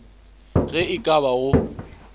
ge e ka ba go